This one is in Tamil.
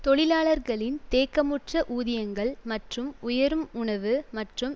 தொழிலாளர்களின் தேக்கமுற்ற ஊதியங்கள் மற்றும் உயரும் உணவு மற்றும்